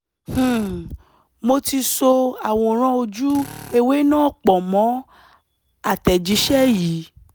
um mo ti so àwòrán ojú-ewé náà pọ̀ mọ́ àtẹ̀jíṣẹ́ yìí